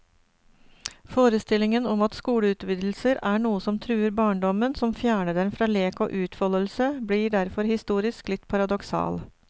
Forestillingen om at skoleutvidelser er noe som truer barndommen, som fjerner den fra lek og utfoldelse, blir derfor historisk litt paradoksal.